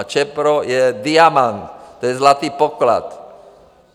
A Čepro je diamant, to je zlatý poklad.